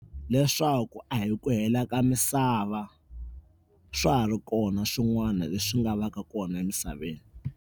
Leswaku a hi ku hela ka misava swa ha ri kona swin'wana leswi nga va ka kona emisaveni.